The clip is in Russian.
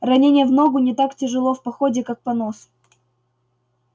ранение в ногу не так тяжело в походе как понос